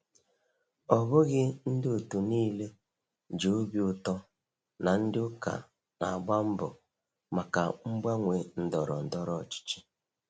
Ọ bụghị ndị otu niile ji obi ụtọ na ndị ụka na-agba mbọ maka mgbanwe ndọrọ ndọrọ ọchịchị.